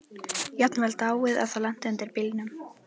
Jafnvel dáið ef það lenti undir bílnum.